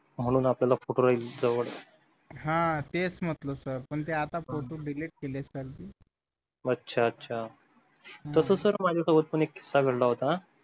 म्हणून आपल्याला photo काढायची सवय हा तेच म्हटलं sir पण ते आता photo delete केलेत sir मी अच्छा अच्छा तसंच sir माझ्याजवळ पण एक